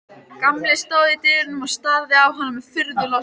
Gamli stóð í dyrunum og starði á hana furðu lostinn.